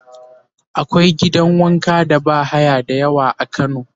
akwai gidan wanka da bahaya da yawa a kano